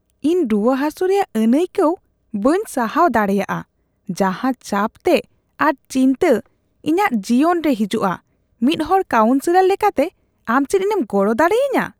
ᱤᱧ ᱨᱩᱣᱟᱹᱼᱦᱟᱹᱥᱩ ᱨᱮᱭᱟᱜ ᱟᱹᱱᱟᱹᱭᱠᱟᱣ ᱵᱟᱹᱧ ᱥᱟᱦᱟᱣ ᱫᱟᱲᱮᱭᱟᱜᱼᱟ ᱡᱟᱦᱟᱸ ᱪᱟᱯᱛᱮ ᱟᱨ ᱪᱤᱱᱛᱟᱹ ᱤᱧᱟᱹᱜ ᱡᱤᱭᱚᱱ ᱨᱮ ᱦᱤᱡᱩᱜᱼᱟ; ᱢᱤᱫ ᱦᱚᱲ ᱠᱟᱣᱩᱱᱥᱼᱥᱮᱞᱚᱨ ᱞᱮᱠᱟᱛᱮ, ᱟᱢ ᱪᱮᱫ ᱤᱧᱮᱢ ᱜᱚᱲᱚ ᱫᱟᱲᱮᱭᱟᱹᱧᱟᱹ ?